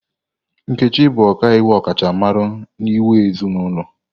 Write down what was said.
Nkechi bụ ọkaiwu ọkachamara n'iwu ezinụlọ.